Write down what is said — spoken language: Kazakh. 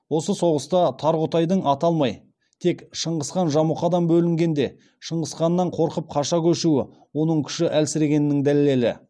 осы соғыста тарғұтайдың аталмай тек шыңғысхан жамұқадан бөлінгенде шыңғысханнан қорқып қаша көшуі оның күші әлсірегеннің дәлелі